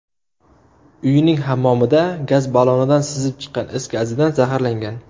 uyining hammomida gaz ballonidan sizib chiqqan is gazidan zaharlangan.